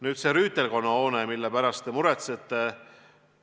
Nüüd sellest rüütelkonna hoonest, mille pärast te muretsete.